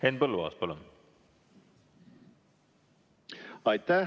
Henn Põlluaas, palun!